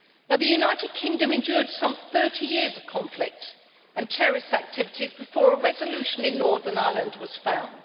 The United Kingdom endured some 30 years of conflict and terrorist activities before a resolution in Northern Ireland was found.